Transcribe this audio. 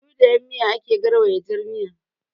Da ludayin miya ake gauraya jar miya